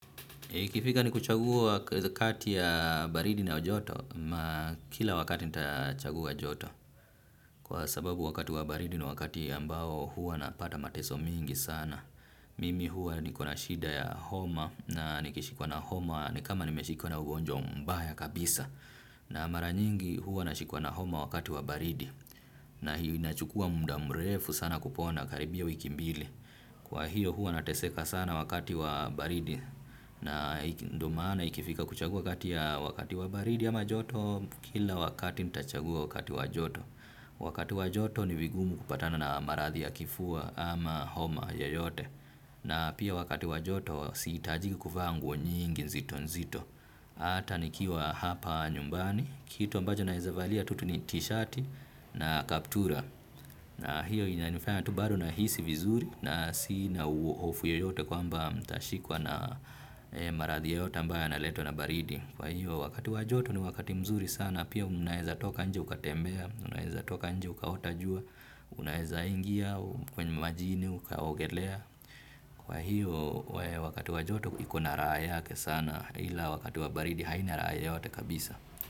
Ikifika ni kuchagua kati ya baridi na joto, ma kila wakati nitachagua joto. Kwa sababu wakati wa baridi ni wakati ambao huwa napata mateso mingi sana. Mimi huwa niko na shida ya homa na nikishikwa na homa ni kama nimeshikwa na ugonjwa mbaya kabisa. Na maranyingi huwa nashikwa na homa wakati wa baridi. Na hiyo inachukua mda mrefu sana kupona karibia wiki mbili. Kwa hiyo huwa nateseka sana wakati wa baridi na ndo maana ikifika kuchagua kati ya wakati wa baridi ama joto kila wakati nitachagua wakati wa joto. Wakati wa joto ni vigumu kupatana na maradhi ya kifua ama homa yoyote na pia wakati wa joto sihitajiki kuvaa nguo nyingi nzito nzito. Ata nikiwa hapa nyumbani kitu ambacho naeza valia tutu ni tishati na kaptura. Na hiyo inanifanya tu bado nahisi vizuri na sina uovu yoyote kwamba nitashikwa na marathi yoyote ambayo na letwa na baridi. Kwa hiyo wakati wa joto ni wakati mzuri sana pia unaeza toka nje ukatembea, unaeza toka nje ukaota jua, unaeza ingia kwenye majini ukaogelea. Kwa hiyo wakati wa joto ikona rahaa yake sana ila wakati wabaridi haina raa yoyote kabisa.